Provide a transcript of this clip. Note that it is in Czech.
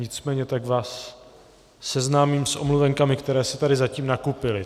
Nicméně tak vás seznámím s omluvenkami, které se tady zatím nakupily.